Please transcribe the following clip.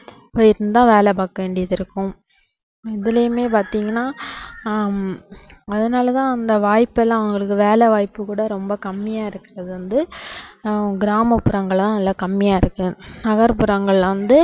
போய் தான் வேலை பாக்க வேண்டியதிருக்கும் இதுலையுமே பாத்தீங்கன்னா ஹம் அதனாலதான் அந்த வாய்ப்பு எல்லாம் அவங்களுக்கு வேலைவாய்ப்பு கூட ரொம்ப கம்மியா இருக்கறது வந்து ஆஹ் கிராமப்புறங்கள்லதான் நல்ல கம்மியா இருக்கு நகர்புறங்கள்ல வந்து